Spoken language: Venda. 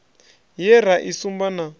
ye ra i sumba na